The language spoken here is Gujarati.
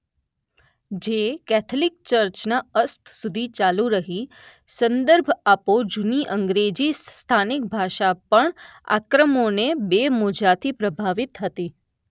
જે કેથલિક ચર્ચના અસ્ત સુધી ચાલુ રહી. સંદર્ભ આપો જૂની અંગ્રેજી સ્થાનિક ભાષા પણ આક્રમોને બે મોજાંથી પ્રભાવિત હતી.